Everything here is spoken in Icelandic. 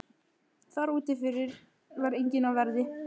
Þar úti fyrir var enginn á verði.